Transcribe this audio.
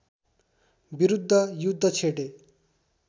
विरुद्ध युद्ध छेडे